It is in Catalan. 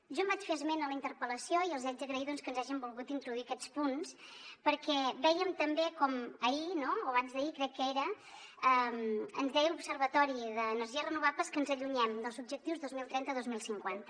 jo en vaig fer esment a la interpel·lació i els hi haig d’agrair doncs que ens hagin volgut introduir aquests punts perquè vèiem també com ahir no o abans d’ahir crec que era ens deia l’observatori de les energies renovables que ens allunyem dels objectius dos mil trenta dos mil cinquanta